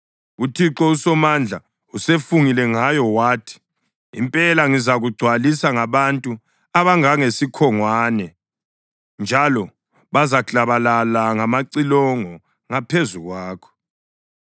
UThixo uSomandla usefungile ngayo wathi: Impela ngizakugcwalisa ngabantu abangangesikhongwane, njalo bazaklabalala ngamacilongo ngaphezu kwakho.